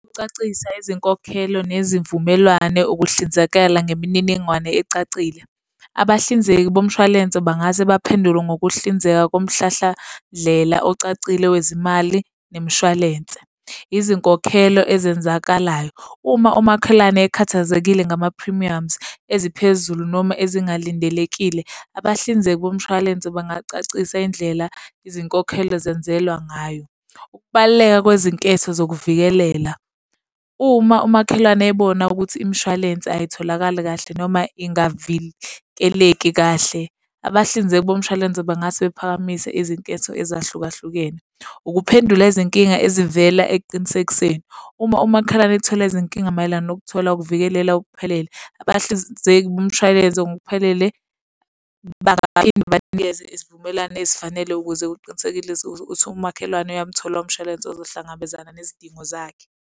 Ukucacisa izinkokhelo nezivumelwane ukuhlinzekala ngemininingwane ecacile. Abahlinzeki bomshwalense bangase baphendule ngokuhlinzeka komhlahlandlela ocacile wezimali nemishwalense. Izinkokhelo ezenzakalayo. Uma umakhelwane ekhathazekile ngama-premiums eziphezulu noma ezingalindelekile, abahlinzeki bomshwalense bangacacisa indlela izinkokhelo zenzelwa ngayo. Ukubaluleka kwezinketho zokuvikelela. Uma umakhelwane ebona ukuthi imishwalense ayitholakali kahle noma ingavikeleki kahle, abahlinzeki bomshwalense bangase baphakamise izinketho ezahlukahlukene. Ukuphendula izinkinga ezivela ekuqinisekiseni. Uma umakhelwane ethola izinkinga mayelana nokuthola ukuvikelela okuphelele. Abahlinzeki bomshwalense ngokuphelele bangaphinde banikeze isivumelwane ezifanele ukuze uqinisekelise ukuthi umakhelwane uyamthola umshwalense uzohlangabezana nezidingo zakhe.